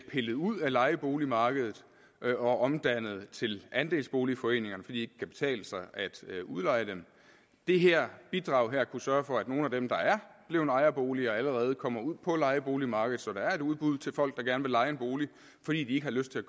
pillet ud af lejeboligmarkedet og omdannet til andelsboligforeninger fordi det ikke kan betale sig at udleje dem det her bidrag kunne sørge for at nogle af dem der er blevet ejerboliger allerede kommer ud på lejeboligmarkedet så der er et udbud til folk der gerne vil leje en bolig fordi de ikke har lyst til at